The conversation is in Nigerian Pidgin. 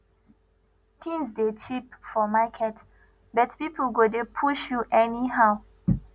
tins dey cheap for market but pipo go dey push you anyhow